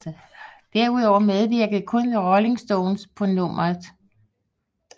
Derudover medvirkede kun The Rolling Stones på nummeret